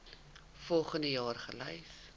volgens jaar gelys